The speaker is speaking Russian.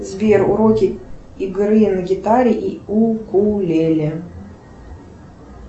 сбер уроки игры на гитаре и укулеле